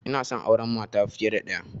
Inason auran mata fiya da ɗaya